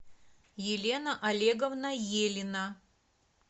елена олеговна елина